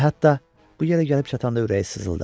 Və hətta bu yerə gəlib çatanda ürəyi sızıldadı.